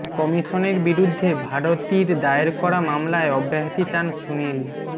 কমিশনের বিরুদ্ধে ভারতীর দায়ের করা মামলায় অব্যাহতি চান সুনীল